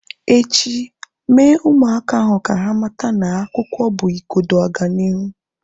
Echi, Mee ụmụaka ahu ka ha mata na akwụkwọ bụ igodo ọganihu